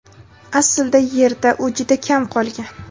aslida Yerda u juda kam qolgan.